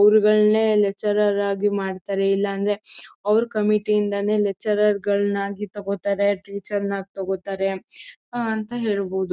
ಅವರ್ಗಳ್ನೇ lecturer ಆಗಿ ಮಾಡ್ತಾರೆ ಇಲ್ಲಾಂದ್ರೆ ಅವ್ರ್ ಕಮಿಟೀ ಇಂದಾನೆ ಲೆಕ್ಚರ್ರ್ಗಳ್ನ ಆಗಿ ತಗೋತಾರೆ ಟೀಚರ್ನ ಆಗಿ ತಗೋತಾರೆ ಅಂತ ಹೇಳ್ಬಹುದು